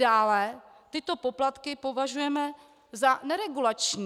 Dále tyto poplatky považujeme za neregulační.